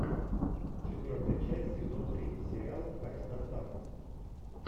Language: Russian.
четвертая часть сезон три сериал кайф с доставкой